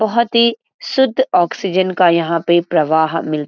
बहुत ही शुद्ध ऑक्सीजन का यहाँ पे प्रवाह मिलता --